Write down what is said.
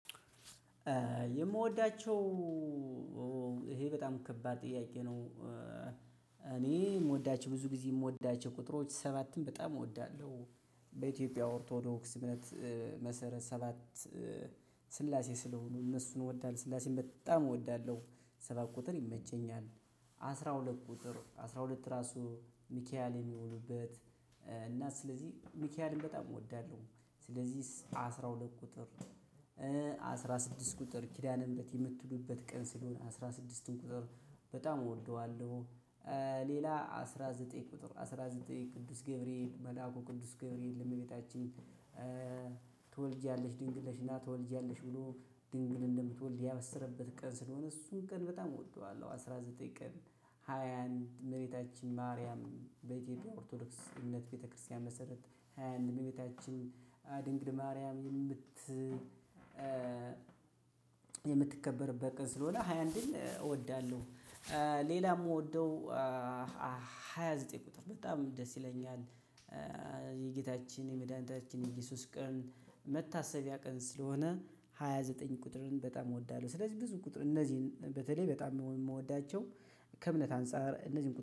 የምወዳቸው ይሄ በጣም ከባድ ጥያቄ ነው። እኔ ምወዳቸው ብዙግዜ ምወዳቸው ሰባትን በጣም እወደዋለሁ። በኢትዮጵያ ኦርቶዶክስ እምነት መሰረት ሰባት ስላሴ ስለሆኑ እነሱን እወዳለሁ ስላሴ በጣም እወዳለሁ። ሰባት ቁጥር ይመቸኛል። አስራ ሁለት ቁጥር አስራ ሁለት ራሱ ሚካኤል የሚሆኑበት እና ስለዚህ ሚካኤልን በጣም እወዳለሁ። ስለዚህ አስራ ሁለት ቁጥር። አስራ ስድስት ቁጥር ኪዳነምህረት የምትሉበት ቀን ስለሆነ አስራ ስድስቱን ቁጥር በጣም እወደዋለሁ። ሌላ አስራ ዘጠኝ ቁጥር አስራ ዘጠኝ ቅዱስ ገብርኤል መልአኩ ቅዱስ ገብርኤል ለመቤታችን ትወልጃለሽ ድንግልሽና ትወልጃለሽ ብሎ ድንግል እንደምትወልድ ያበሰረበት ቀን ስለሆነ እሱን ቀን በጣም እወደዋለሁ አስራ ዘጠኝ ቀን። ሃያ አንድ እመቤታችን ማርያም በኢትዮጵያ ኦርቶዶክስ እምነት ቤተክርስቲያን መሰረት ሃያ አንድ እመቤታችን ድንግል ማርያምን የምት የምትከበርበት ቀን ስለሆነ ሃያ አንድን እወዳለሁ። ሌላ የምወደው ሃያ ዘጠኝ ቁጥር በጣም ደስ ይለኛል። የጌታችን የመድኃኒታችን የእየሱስ ቀን መታሰቢያ ቀን ስለሆነ ሃያ ዘጠኝ ቁጥርን በጣም እወዳለሁ። ስለዚህ ብዙ ቁጥር እነዚህን በተለይ በጣም የምወዳቸው ከእምነት አንፃር እነዚህን